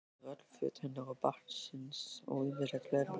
Þar eru öll föt hennar og barnsins og ýmislegt fleira.